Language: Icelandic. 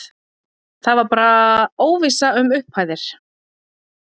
Það var bara óvissa um upphæðir?